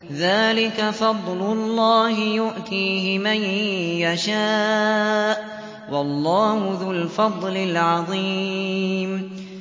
ذَٰلِكَ فَضْلُ اللَّهِ يُؤْتِيهِ مَن يَشَاءُ ۚ وَاللَّهُ ذُو الْفَضْلِ الْعَظِيمِ